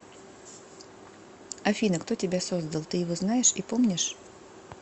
афина кто тебя создал ты его знаешь и помнишь